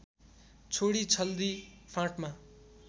छोडि छल्दी फाँटमा